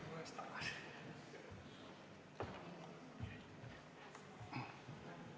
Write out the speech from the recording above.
Tulen üles tagasi.